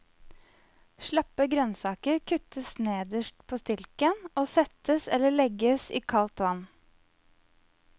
Slappe grønnsaker kuttes nederst på stilken og settes eller legges i kaldt vann.